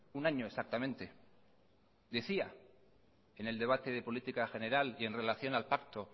un año exactamente decía en el debate de política general y en relación al pacto